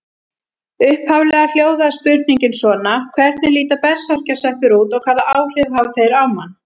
Upphaflega hljóðaði spurningin svona: Hvernig líta berserkjasveppir út og hvaða áhrif hafa þeir á mann?